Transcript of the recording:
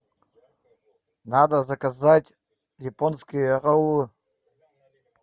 надо заказать японские роллы